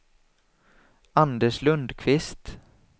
Anders Lundkvist